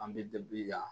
An bɛ yan